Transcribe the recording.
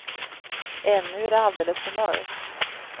Ännu är det alldeles för mörkt.